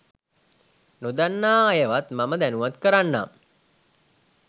නොදන්නා අයවත් මම දැනුවත් කරන්නම්